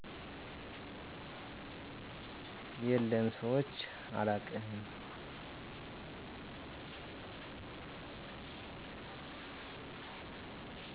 የለም ሰምቸ አላውቅም